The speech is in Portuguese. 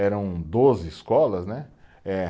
Eram doze escolas, né? Eh